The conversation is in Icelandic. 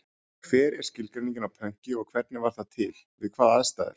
Hver er skilgreiningin á pönki og hvernig varð það til, við hvaða aðstæður?